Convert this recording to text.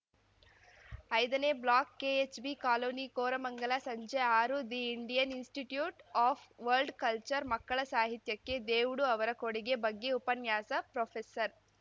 ಐದನೇ block KHB colony Koramangala ಸಂಜೆ ಆರು the Indian institute of world culture ಮಕ್ಕಳ ಸಾಹಿತ್ಯಕ್ಕೆ ದೇವುಡು ಅವರ ಕೊಡುಗೆ ಬಗ್ಗೆ ಉಪನ್ಯಾಸ ಪ್ರೊಫೆಸರ್